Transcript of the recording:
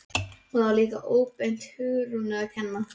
Og það var líka óbeint Hugrúnu að kenna.